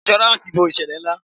Insuransi bo ìṣẹ̀lẹ̀ ina.